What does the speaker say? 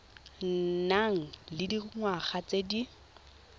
nang le dingwaga tse di